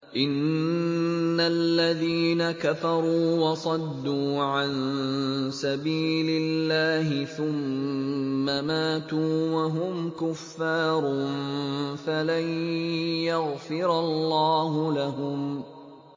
إِنَّ الَّذِينَ كَفَرُوا وَصَدُّوا عَن سَبِيلِ اللَّهِ ثُمَّ مَاتُوا وَهُمْ كُفَّارٌ فَلَن يَغْفِرَ اللَّهُ لَهُمْ